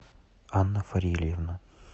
анна фарильевна